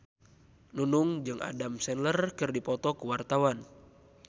Nunung jeung Adam Sandler keur dipoto ku wartawan